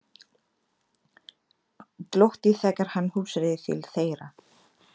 Glotti þegar hann hugsaði til þeirra.